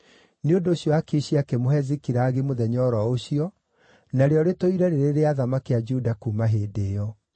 Nĩ ũndũ ũcio Akishi akĩmũhe Zikilagi mũthenya o ro ũcio, narĩo rĩtũire rĩrĩ rĩa athamaki a Juda kuuma hĩndĩ ĩyo.